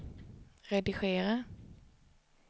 redigera